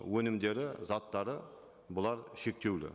өнімдері заттары бұлар шектеулі